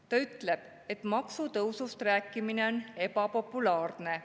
Ta ütles, et maksutõusust rääkimine on ebapopulaarne.